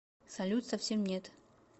салют совсем нет